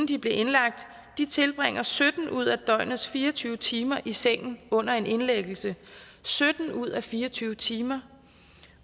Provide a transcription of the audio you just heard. de blev indlagt tilbringer sytten ud af døgnets fire og tyve timer i sengen under en indlæggelse sytten ud af fire og tyve timer